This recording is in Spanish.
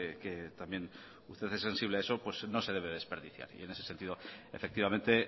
que también usted es sensible a eso pues no se debe desperdiciar y en ese sentido efectivamente